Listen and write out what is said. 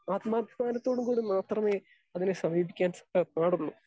Speaker 2 ആത്മാഭിമാനത്തോടും കൂടി മാത്രമേ അതിനെ സമീപിക്കാൻ സാ പാടുള്ളൂ.